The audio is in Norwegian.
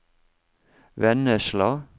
Vennesla